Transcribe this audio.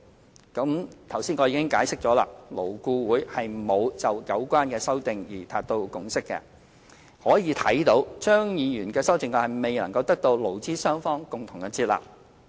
正如我剛才已經解釋，勞顧會沒有就有關修正案達成共識，可見張議員的修正案未能得到勞資雙方共同接納。